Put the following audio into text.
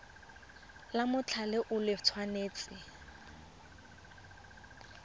la mothale o le tshwanetse